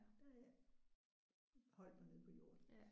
Der har jeg holdt mig nede på jorden